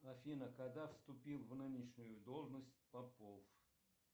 афина когда вступил в нынешнюю должность попов